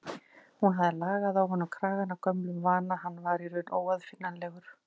Hún hafði lagað á honum kragann af gömlum vana, hann var í raun óaðfinnanlegur.